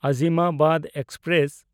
Azimabad express